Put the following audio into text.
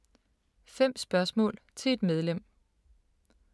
5 spørgsmål til et medlem